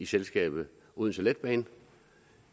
selskabet odense letbane